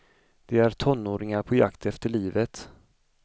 De är tonåringar på jakt efter livet.